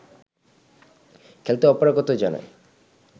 খেলতে অপারগতা জানায়